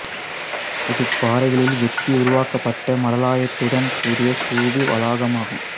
இது பாறைகளில் வெட்டி உருவாக்கப்பட்ட மடாலயத்துடன் கூடிய ஸ்தூபி வளாகமாகும்